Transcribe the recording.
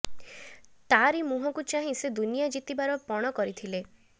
ତାରି ମୁହଁକୁ ଚାହିଁ ସେ ଦୁନିଆ ଜିତିବାର ପଣ କରିଥିଲେ